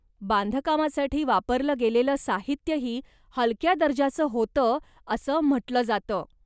बांधकामासाठी वापरलं गेलेलं साहित्यही हलक्या दर्जाचं होतं असं म्हटलं जातं.